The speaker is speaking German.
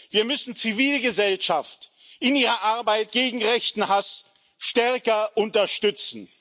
Wir müssen die Zivilgesellschaft in ihrer Arbeit gegen rechten Hass stärker unterstützen.